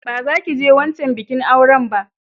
Ba za ki je wancan bikin auran ba!